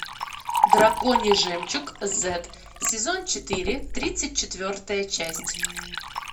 драконий жемчуг зет сезон четыре тридцать четвертая часть